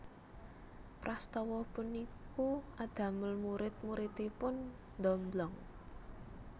Prastawa puniku adamel murid muridipun ndomblong